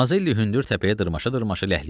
Mazelli hündür təpəyə dırmaşa-dırmaşa ləhləyirdi.